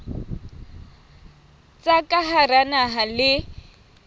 tsa ka hara naha le